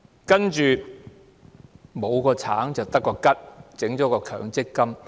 接着，沒有了"橙"，便得個"桔"，政府設立了強積金。